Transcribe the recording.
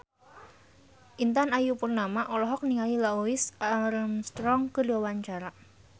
Intan Ayu Purnama olohok ningali Louis Armstrong keur diwawancara